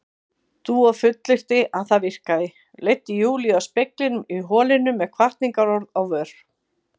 Dúa fullyrti að það virkaði, leiddi Júlíu að speglinum í holinu með hvatningarorð á vör.